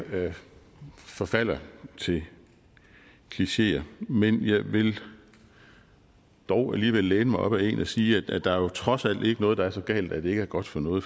forfalder til klicheer men jeg vil dog alligevel læne mig op ad en og sige at der jo trods alt ikke er noget der er så galt at det ikke er godt for noget